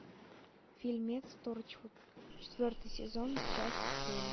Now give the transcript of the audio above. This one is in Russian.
фильмец торчвуд четвертый сезон часть семь